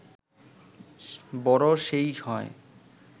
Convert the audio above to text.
বড় সেই হয়